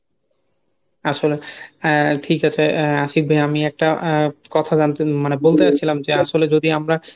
আসলে আহ ঠিক আছে আহ আশিক ভাইয়া আমি একটা আহ কথা জানতে মানে বলতে চাচ্ছিলাম যে আসলে যদি আমরা